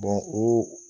o